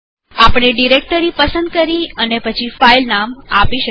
આપણે ડીરેકટરી પસંદ કરી અને પછી ફાઈલનામ આપી શકીએ